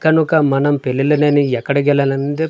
కనుక మనం పిల్లలనేని ఎక్కడ కెల్లాలందు --